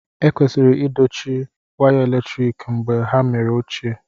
Ekwesịrị idochie waya eletrik mgbe ha mere ochie